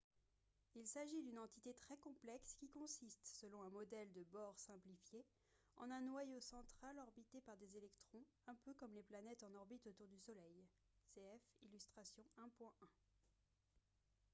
il s'agit d'une entité très complexe qui consiste selon un modèle de bohr simplifié en un noyau central orbité par des électrons un peu comme les planètes en orbite autour du soleil cf illustration 1.1